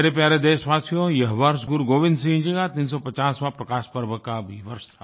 मेरे प्यारे देशवासियो यह वर्ष गुरुगोविन्द सिंह जी का 350वाँ प्रकाश पर्व का भी वर्ष था